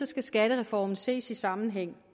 skal skattereformen ses i sammenhæng